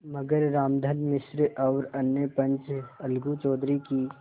मगर रामधन मिश्र और अन्य पंच अलगू चौधरी की